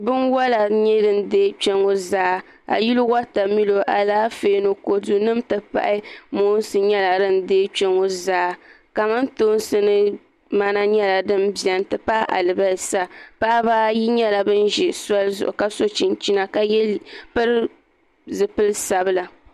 Binwola n nyɛ din deei kpɛ ŋo zaa a yili wotamilo Alaafee ni kodu n ti pahi moonsi nyɛla din deei kpɛ ŋo zaa kamantoosi ni mana nyɛla din biɛni n ti pahi alibarisa paɣaba ayi nyɛla bin ʒi soli zuɣu ka so chinchina ka pili zipili sabila